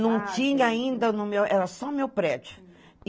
Não tinha ainda no meu, era só meu prédio.